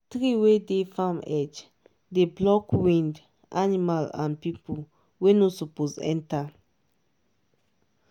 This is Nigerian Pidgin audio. tree wey dey farm edge dey block wind animal and people wey no suppose enter.